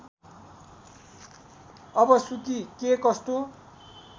अब सुकी केकस्तो